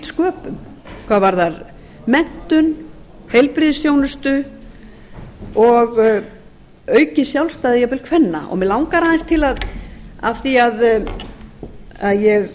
sköpum hvað varðar menntun heilbrigðisþjónustu og aukinn sjálfstæði kvenna og mig langar aðeins af því að ég